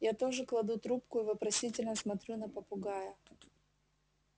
я тоже кладу трубку и вопросительно смотрю на попугая